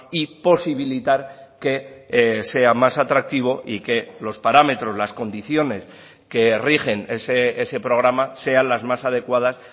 y posibilitar que sea más atractivo y que los parámetros las condiciones que rigen ese programa sean las más adecuadas